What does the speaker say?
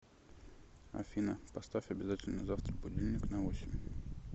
афина поставь обязательно завтра будильник на восемь